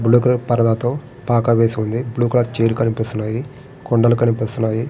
Blue colour పరజాతో పాక వేసి ఉంది. బ్లూ కలర్ చైర్ కనిపిస్తుంది. కొండలు కనిపిస్తున్నాయి.